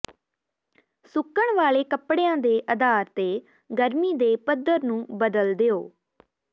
ਸੁੱਕਣ ਵਾਲੇ ਕੱਪੜਿਆਂ ਦੇ ਆਧਾਰ ਤੇ ਗਰਮੀ ਦੇ ਪੱਧਰ ਨੂੰ ਬਦਲ ਦਿਓ